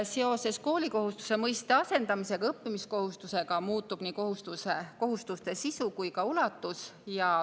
Seoses koolikohustuse mõiste asendamisega õppimiskohustuse mõistega muutub nii kohustuse sisu kui ka ulatus.